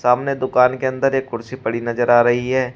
सामने दुकान के अंदर एक कुर्सी पड़ी नजर आ रही है।